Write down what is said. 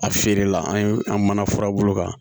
A feere la an ye an mana furabulu kan